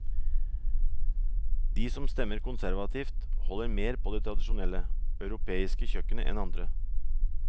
De som stemmer konservativt holder mer på det tradisjonelle, europeiske kjøkkenet enn andre.